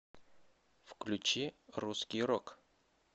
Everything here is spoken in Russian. включи русский рок